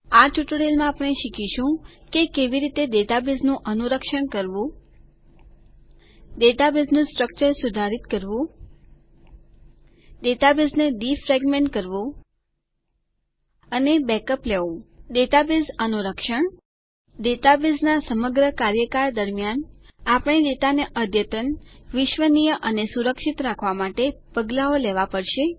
આ ટ્યુટોરીયલમાં આપણે શીખીશું કે કેવી રીતે ડેટાબેઝ નું અનુરક્ષણ કરવું ડેટાબેઝનું સ્ટ્રકચર સુધારીત કરવું ડેટાબેઝને ડીફ્રેગમેન્ટ ન વપરાયેલી ખાલી જગ્યાને વ્યવસ્થિત કરવાની ક્રિયા કરવું અને બેકઅપ્સ માહિતીનો અલગથી સંગ્રહ કરી રાખવો લેવું ડેટાબેઝ અનુરક્ષણ ડેટાબેઝનાં સમગ્ર કાર્યકાળ દરમ્યાન આપણે ડેટાને અદ્યતન વિશ્વસનીય અને સુરક્ષિત રાખવાં માટે પગલાઓ લેવા પડશે